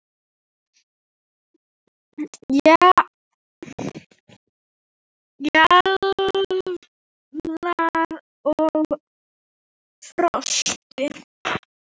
Fjalar og Frosti